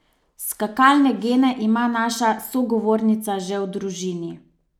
Skakalne gene ima naša sogovornica že v družini.